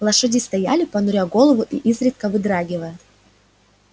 лошади стояли понуря голову и изредка вздрагивая